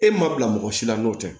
E ma bila mɔgɔ si la n'o tɛ